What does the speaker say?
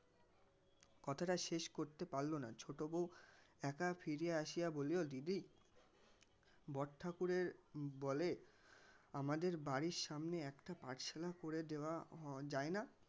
কথাটা শেষ করতে পারলনা ছোটো বউ একা ফিরে আসিয়া বলিল দিদি বড় ঠাকুরের বলে আমাদের বাড়ির সামনে একটা পাঠশালা করে দেওয়ার হম যায়না.